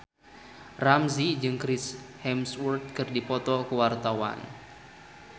Ramzy jeung Chris Hemsworth keur dipoto ku wartawan